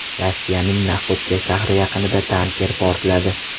Rossiyaning Naxodka shahri yaqinida tanker portladi.